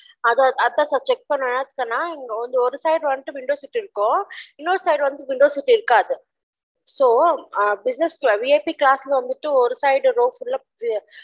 அதான் அதான் sir check பன்ன சொன்ன ஒரு வந்து ஒரு side window seat இருக்கும் இன்னொரு side வந்து window seat இருக்காது அம் so businessVIPclass ஒரு side row full ஆஹ்